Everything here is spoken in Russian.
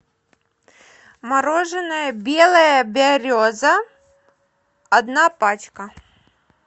мороженое белая береза одна пачка